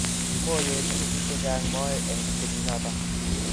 kimoyechini biik che chang' moe eng' kenyit noto